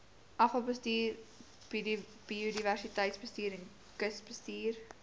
afvalbestuur biodiversiteitsbestuur kusbestuur